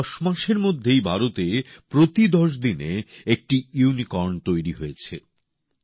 কেবল দশ মাসের মধ্যেই ভারতে প্রতি ১০ দিনে একটি ইউনিকর্ন তৈরি হয়েছে